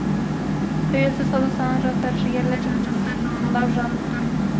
тәуелсіз қазақстанның жастары жігерлі жан жақты жалындап жанып тұр